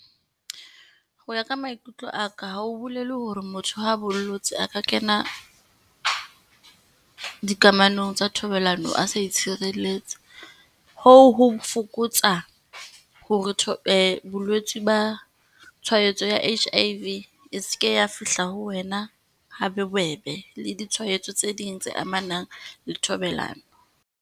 Ho ya ka maikutlo aka, ha ho bolele hore motho ha a bollotse, a ka kena dikamanong tsa thobalano a sa itshireletsa. Hoo ho fokotsa hore bolwetsi ba tshwaetso ya H_I_V e seke ya fihla ho wena ha bobebe, le ditshwaetso tse ding tse amanang le thobalano.